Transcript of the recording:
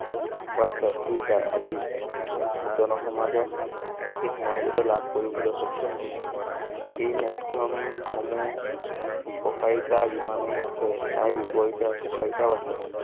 WhatsApp, Twitter আদি জনসমাজত বিশেষ মৰ্যদা লাভ কৰিবলৈ সক্ষম হৈছে এই মাধ্যম সমূহ উপকাৰিতা যিমানে আছে তাৰ বিপৰীতে অপকাৰিতাও আছে।